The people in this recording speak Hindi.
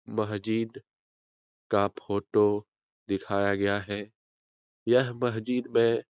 मस्जिद का फोटो दिखाया गया है यह मस्जिद में --